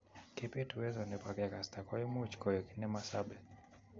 Kebeet uwezo neboo kegasta koimuch koeg ne masabee